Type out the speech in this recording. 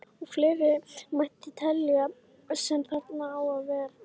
Og fleira mætti telja sem þarna á að verða.